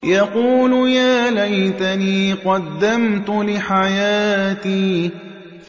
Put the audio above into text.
يَقُولُ يَا لَيْتَنِي قَدَّمْتُ لِحَيَاتِي